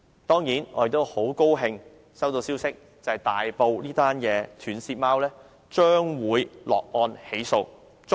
當然，我們很高興接獲消息指大埔斷舌貓案已捉拿兇徒，將會落案起訴。